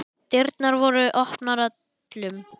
Dyrnar voru opnar öllum.